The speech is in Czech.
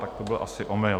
Tak to byl asi omyl.